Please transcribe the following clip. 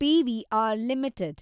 PVR limited